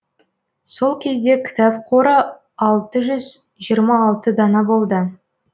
сол кезде кітап қоры алты жүз жиырма алты дана болды